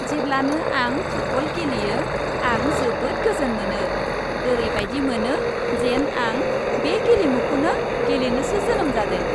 जेब्लानो आं फुटबल गेलेयो, आं जोबोद गोजोन मोनो। ओरैबायदि मोनो, जेन आं बे गेलेमुखौनो गेलेनोसो जोनोम जादों।